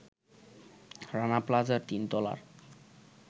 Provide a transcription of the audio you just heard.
রানা প্লাজার তিনতলার